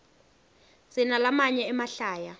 sinalamanye emahlaya